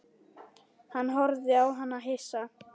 Hann horfði á hana hissa.